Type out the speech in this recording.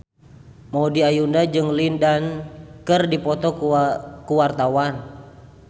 Maudy Ayunda jeung Lin Dan keur dipoto ku wartawan